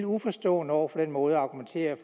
uforstående over for den måde at argumentere